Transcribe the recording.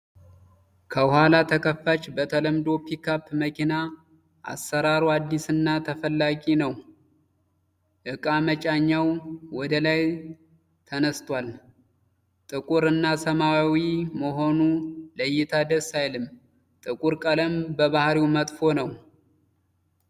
ከኋላ ተከፋች በተለመዶ ፒካፕ መኪና አሰራሩ አዲስ እና ተፈላጊ ነዉ። የእቃ መጫኛዉ ወደ ላይ ተነስቷል። ጥቁር እና ሰማያዊ መሆኑ ለእይታ ደስ አይልም። ጥቁር ቀለም በባህሪዉ መጥፎ ነዉ።